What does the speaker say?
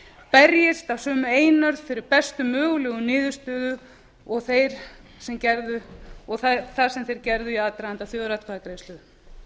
berjumst af sömu einurð fyrir bestu mögulegum niðurstöðum og það sem þeir gerðu í aðdraganda þjóðaratkvæðagreiðslu